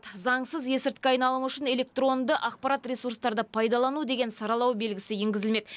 заңсыз есірткі айналымы үшін электронды ақпарат ресурстарды пайдалану деген саралау белгісі енгізілмек